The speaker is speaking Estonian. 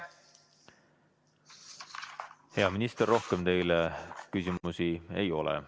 Hea minister, rohkem teile küsimusi ei ole.